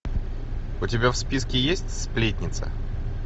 у тебя в списке есть сплетница